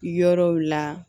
Yɔrɔw la